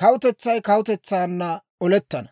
kawutetsay kawutetsaanna olettana.